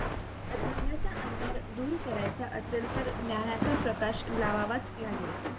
अज्ञानाचा अंधार दूर करायचा असेल तर ज्ञानाचा प्रकाश लावावाच लागेल.